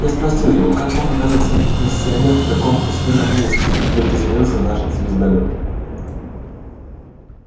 я спросил его как мог оказаться миссионер в таком пустынном месте где приземлился наш звездолёт